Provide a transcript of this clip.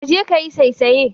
Kaje kayi saisaye.